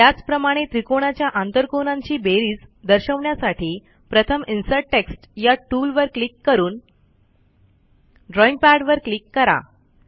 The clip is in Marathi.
त्याचप्रमाणे त्रिकोणाच्या आंतरकोनांची बेरीज दर्शवण्यासाठी प्रथम इन्सर्ट टेक्स्ट ह्या टूलवर क्लिक करून ड्रॉईंग पॅडवर क्लिक करा